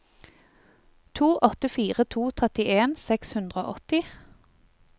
to åtte fire to trettien seks hundre og åtti